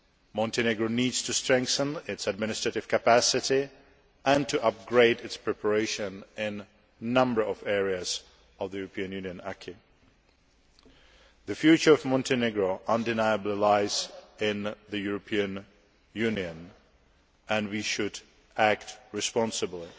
Montenegro needs to strengthen its administrative capacity and to upgrade its preparation in a number of areas of the European Union acquis The future of Montenegro undeniably lies in the European Union and we should act responsibly.